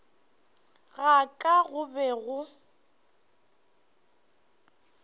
ga ka go be go